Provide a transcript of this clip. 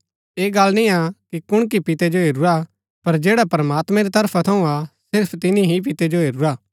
ऐह गल्ल निय्आ कि कुणकी पिते जो हेरूरा पर जैडा प्रमात्मां री तरफा थऊँ हा सिर्फ तिनी ही पितै जो हेरूरा